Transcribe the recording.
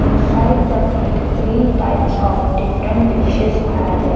inside the plate three types of different dishes are there --